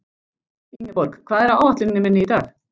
Ingeborg, hvað er á áætluninni minni í dag?